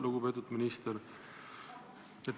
Lugupeetud minister!